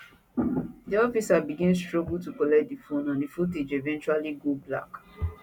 di officers begin struggle to collect di phone and di footage eventually go black